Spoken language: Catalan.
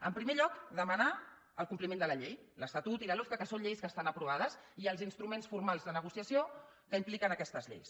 en primer lloc demanar el compliment de la llei l’estatut i la lofca que són lleis que estan aprovades i els instruments formals de negociació que impliquen aquestes lleis